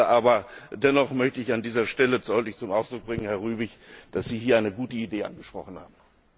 Aber dennoch möchte ich an dieser Stelle deutlich zum Ausdruck bringen, Herr Rübig, dass Sie hier eine gute Idee angesprochen haben.